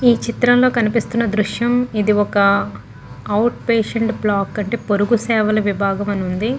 ఈ చిత్రం లో కనిపిస్తున్న దృశ్యం ఇది ఒక అవుట్ పేషంట్ బ్లాక్ అంటే పొరుగు సేవల విభాగం అని ఉంది.